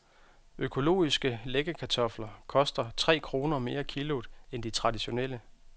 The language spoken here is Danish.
Økologiske læggekartofler koster tre kroner mere kiloet end de traditionelle.